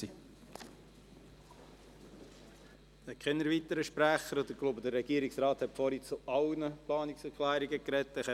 Es gibt keine weiteren Sprecher, und ich denke, der Regierungsrat hat zu allen Planungserklärungen gesprochen.